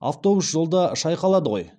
автобус жолда шайқалады ғой